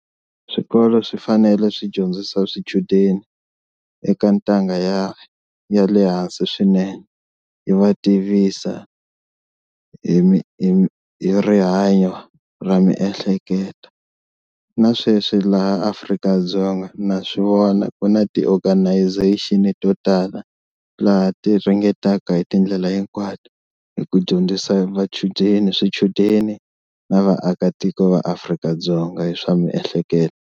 Swikolo swi fanele swi dyondzisa swichudeni eka ntanga ya ya le hansi swinene yi va tivisa hi hi hi rihanyo ra miehleketo na sweswi laha Afrika-Dzonga na swivona ku na ti-organization to tala laha ti ringetaka hi tindlela hinkwato hi ku dyondzisa vachudeni swichudeni na vaakatiko va Afrika-Dzonga hi swa miehleketo.